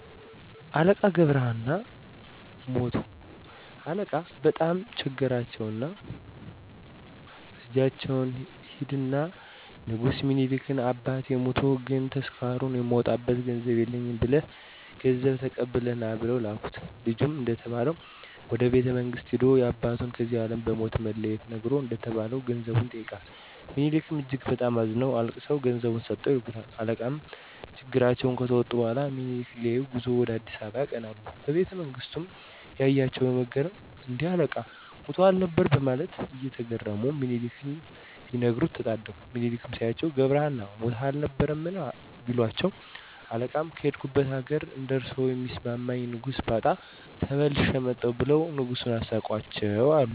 አለቃ ገብረ ሃና ሞቱ አለቃ በጣም ቸገራቸውና ልጃቸውን ሂድና ንጉስ ሚኒሊክን አባቴ ሞቶ ግን ተስካሩን የማወጣበት ገንዘብ የለኝም ብለህ ገንዘብ ተቀብለህ ና ብለው ላኩት። ልጅም እንደተባለው ወደ ቤተመንግስት ሂዶ ያባቱን ከዚህ አለም በሞት መለየት ነግሮ እንደተባለው ገንዘቡን ይጠይቃል። ምኒሊክም እጅግ በጣም አዝነውና አልቅሰው ገንዘቡን ሰጥተው ይልኩታል። አለቃም ችግራቸውን ከተወጡ በኋላ ምኒሊክን ሊያዪ ጉዞ ወደ አ.አ. ያቀናሉ። በቤተመንግስቱም ያያቸው በመገረም እን...ዴ? አለቃ ሞተው አልነበር በማለት እየተገረሙ ለምኒሊክ ሊነግሩ ተጣደፉ። ሚኒሊክም ሲያዩአቸው ገብረሀና ሞተህም አልነበር? ቢሏቸው አለቃም ከሄድኩበት አገር እንደርሶ የሚስማማኝ ንጉስ ባጣ ተመልሼ መጣሁ ብለው ንጉሱን አሳቋቸው አሉ።